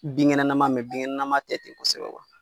Binkɛnɛnaman binkɛnɛnaman tɛ ten kosɛbɛ